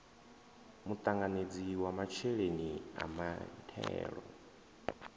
muṱanganedzi wa masheleni a mithelo